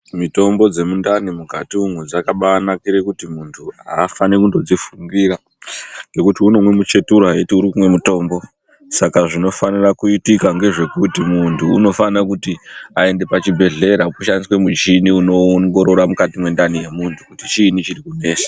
Mitombo dzemundani mukati umwo dzakabaanakure kuti muntu aafani kungozvifungira ngekuti unomwe muchetura eiti unomwe mutombo saka zvinofane kuitika ngezvekuti muntu unofana kuende kuchibhehleya aongororwe kuti chiini chirikunesa.